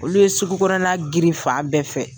Olu ye sugu kɔnɔnna grin fa bɛɛ fɛ.